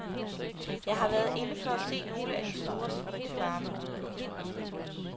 Jeg har været inde for at se nogle af de store svinefarme. punktum